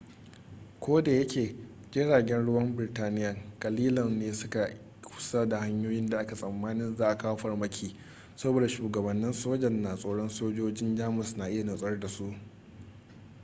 kodayake jiragen ruwan birtaniya kalilan ne su ke kusa da hanyoyin da ake tsammanin za'a kawo farmaki saboda shugabannin sojan na tsoron sojojin jamus na iya nutsar da su